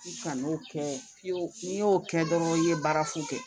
Kan'o kɛ n'i y'o kɛ dɔrɔn i ye baara fu kɛ